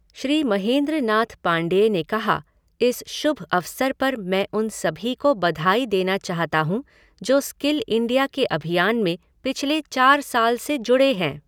श्री मेहन्द्र नाथ पांडेय ने कहा, इस शुभ अवसर पर मैं उन सभी को बधाई देना चाहता हूँ जो स्किल इंडिया के अभियान में पिछले चार साल से जुड़े हैं।